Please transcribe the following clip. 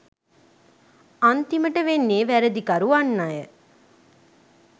අන්තිමට වෙන්නේ වැරදිකරු වන්නය